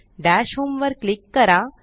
दश homeवर क्लीक करा